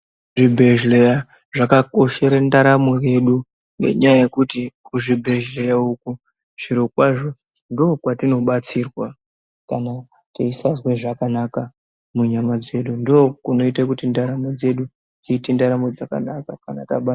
Zvi bhedhleya zvaka koshera ntaramo dzedu nenyaya yekuti kuzvi bhedhleya uku zviro kwazvo ndo kwatino batsirwa kana teisazwa zvakanaka mu nyama dzedu ndo kunoite kuti ndaramo dzedu dziite ndaramo dzakanaka kanatabatwa....